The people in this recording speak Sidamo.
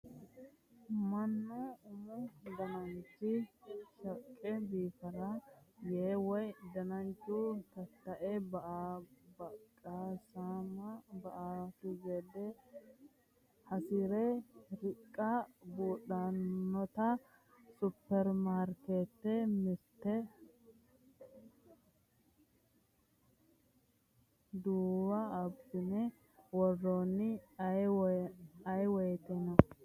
Mannu umu dananchi shaqqe biifansara yee woyi dananchu tatae buqisame ba"anokki gede hasire riqe buudhanotta superimaarketete mirte duunowa abbine worranni ayeewoyteno.